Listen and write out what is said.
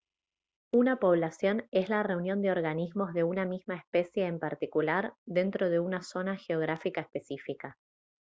una población es la reunión de organismos de una misma especie en particular dentro una zona geográfica específica